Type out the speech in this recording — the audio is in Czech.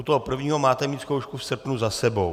U toho prvního máte mít zkoušku v srpnu za sebou.